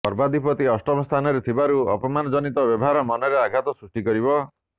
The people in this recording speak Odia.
କର୍ମାଧିପ ଅଷ୍ଟମସ୍ଥାନରେ ଥିବାରୁ ଅପମାନଜନିତ ବ୍ୟବହାର ମନରେ ଆଘାତ ସୃଷ୍ଟି କରିବ